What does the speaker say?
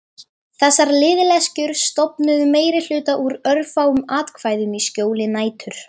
Var hann aldrei til eftir allt saman?